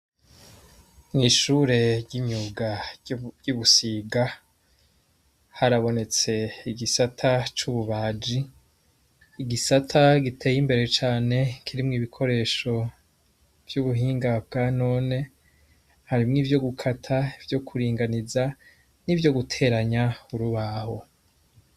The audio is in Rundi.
Mwishure ry' imyuga ry' ibusiga harabonetse igisata c' ububaji igisata giteye imbere cane kirimwo ibikoresho vy' ubuhinga bwa none harimwo ivyo guta ivyo kuringaniza n' ivyoguteranya urubaho.